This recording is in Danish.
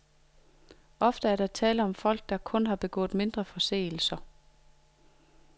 Ofte er der tale om folk, som kun har begået mindre forseelser.